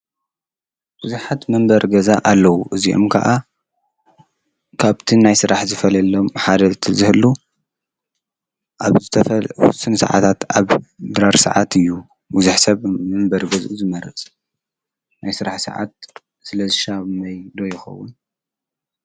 ቡዙሓት መንበሪ ግዛ ኣለዉ እዚኦም ከዓ ካብ'ቲ ናይ ስራሕ ዝፈልየሎም ሓደ እቲ ዝህሉ ኣብ ዝተፈለየ ስዓታት ድራር ሰዓት እዩ። ቡዙሕ ሰብ መንበሪ ገዝኡ ዝመርፅ ናይ ስራሕ ሰዓት ስለ ዝሻመዮ ዶ ይከዉን ?